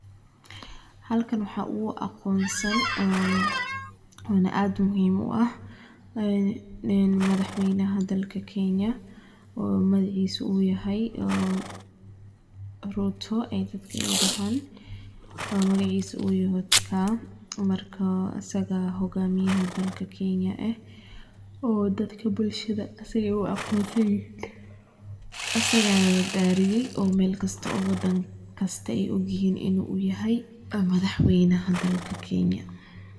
Halkan waxa ogu aqonsan, ona ad muhiim u ah a madaxwaynah dalka kenaya oo magacisa uyahay oo ruto dadka ay dahan oo magcisa uyaho dadka marka asaga xogamiyaha dalka kenaya ah oo dadka bulshada asaga ayay u aqonsanyihin, asagana la darisya oo malkasto oo wadankasta ay ogyihin inu yahay madaxwaynaha dalka kenya.